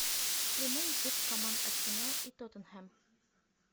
прямой эфир команд арсенал и тоттенхэм